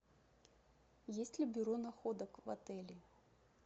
есть ли бюро находок в отеле